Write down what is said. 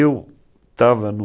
Eu estava no